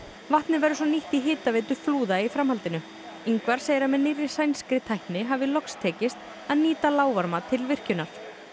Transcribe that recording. vatnið verður svo nýtt í hitaveitu flúða í framhaldinu Ingvar segir að með nýrri sænskri tækni hafi loks tekist að nýta til virkjunar